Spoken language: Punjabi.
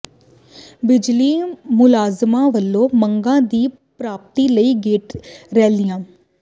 ਬਿਜਲੀ ਮੁਲਾਜ਼ਮਾਂ ਵੱਲੋਂ ਮੰਗਾਂ ਦੀ ਪ੍ਰਾਪਤੀ ਲਈ ਗੇਟ ਰੈਲੀਆਂ